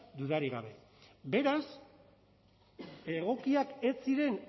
dudarik gabe beraz egokiak ez ziren